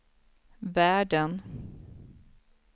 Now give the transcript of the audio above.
världen